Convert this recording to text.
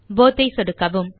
both ஐ சொடுக்கவும்